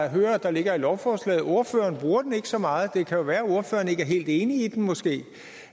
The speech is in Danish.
hører der ligger i lovforslaget ordføreren bruger den ikke så meget det kan jo være ordføreren ikke er helt enig i den måske